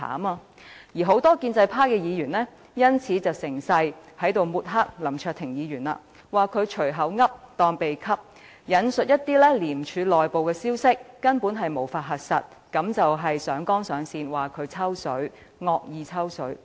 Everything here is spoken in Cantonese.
但是，很多建制派議員卻因此趁機抹黑林卓廷議員，指他"隨口噏當秘笈"，引述一些廉署內部根本無法核實的消息，上綱上線地指控林卓廷議員在"惡意抽水"。